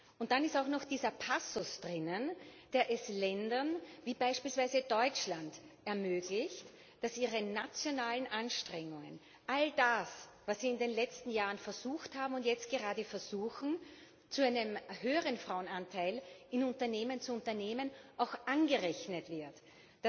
Und dann ist auch noch dieser Passus enthalten, der es Ländern wie beispielsweise Deutschland ermöglicht, sich ihre nationalen Anstrengungen all das, was sie in den letzten Jahren versucht haben und jetzt gerade versuchen, um zu einem höheren Frauenanteil in Unternehmen zu gelangen auch anrechnen zu lassen.